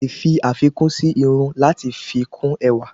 Alè fi àfikún sí irun lati fi kún ẹwà